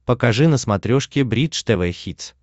покажи на смотрешке бридж тв хитс